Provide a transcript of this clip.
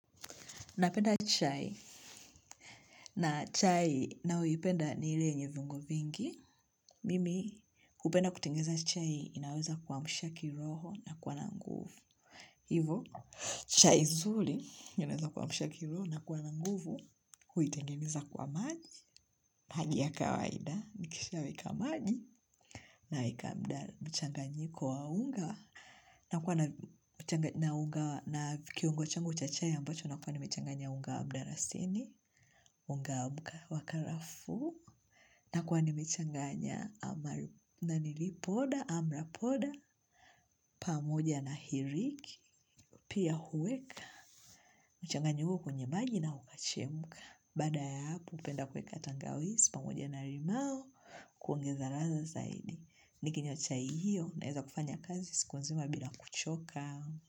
Napenda chai na chai ninayoipenda ni ile yenye viungo vingi. Mimi hupenda kutengeza chai inaweza kwa mshaki roho na kwa na nguvu. Hivo, chai zuri inaweza kuamsha ki roho na kuwa na nguvu huitengeza kwa maji. Maji ya kawaida nikisha weka maji na weka mchanganyiko wa unga. Na kwa na kiungo changu cha chai ambacho na kwa nimechanganya unga wabdarasini, unga wa karafu, na kwa ni mechanganya amalipoda, amrapoda, pamoja na hiriki, pia huweka, mchanganyu kwenye maji na ukachemuka, baada ya hapo hupenda kuweka tangawizi, pamoja na limao, kuongeza ladha zaidi. Nikinywa chai hiyo Naweza kufanya kazi siku nzima bila kuchoka.